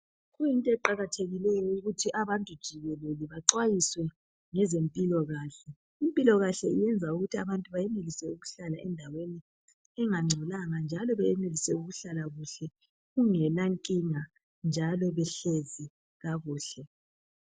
Kuyinto eqakathekileyo ukuthi abantu jikelele baxwayiswe ngezempilakahle. Impilokahle iyenza ukuthi abantu bayenelise ukuhlala endaweni engangcolanga njalo bayenelise ukuhlala kuhle kungela nkinga njalo behlezi kakuhle.